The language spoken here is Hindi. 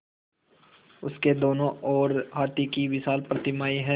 उसके दोनों ओर हाथी की विशाल प्रतिमाएँ हैं